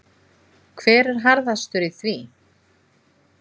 Hver er harðastur í því?